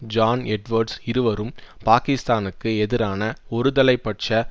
John Edwards இருவரும் பாக்கிஸ்தானுக்கு எதிரான ஒருதலை பட்ச